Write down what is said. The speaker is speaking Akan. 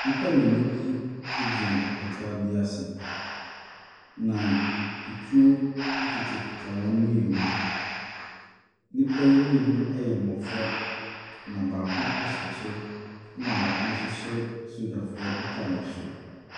Nnipa mmienu bi gyina apata bi ase, na atuo kitakita wɔn mmienu. Nnipa yi mmienu yɛ mmɔfra, na baako hyɛ kyɛ na baako hyɛ sogyafoɔ ataaresuo.